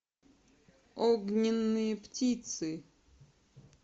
огненные птицы